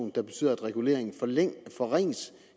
der betyder at reguleringen forringes